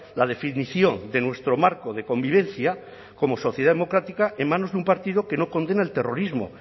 la definición de nuestro marco de convivencia como sociedad democrática en manos de un partido que no condena el terrorismo